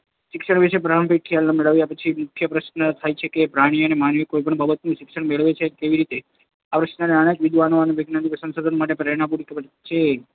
શિક્ષણ વિષેના પ્રારંભિક ખ્યાલો મેળવ્યા પછી, મુખ્ય પ્રશ્ન એ થાય કે પ્રાણી કે માનવી કોઈપણ બાબતનું શિક્ષણ મેળવે છે કેવી રીતે? આ પ્રશ્નએ અનેક વિદ્વાન વૈજ્ઞાનિકોને સંશોધન માટેની પ્રેરણા પૂરી પાડી છે.